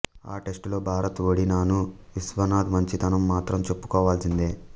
ఆ టెస్టులో భారత్ ఓడిననూ విశ్వనాథ్ మంచితనం మాత్రం చెప్పుకోవాల్సిందే